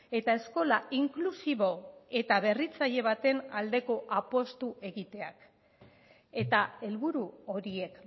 eta eskola inklusibo eta berritzaile baten aldeko apustu egiteak eta helburu horiek